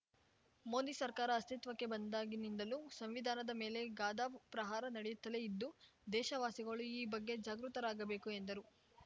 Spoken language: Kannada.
ಮೋದಿ ಸರ್ಕಾರ ಅಸ್ತಿತ್ವಕ್ಕೆ ಬಂದಾಗಿನಿಂದಲೂ ಸಂವಿಧಾನದ ಮೇಲೆ ಗಧಾ ಪ್ರಹಾರ ನಡೆಯುತ್ತಲೇ ಇದ್ದು ದೇಶ ವಾಸಿಗಳು ಈ ಬಗ್ಗೆ ಜಾಗೃತರಾಗಬೇಕು ಎಂದರು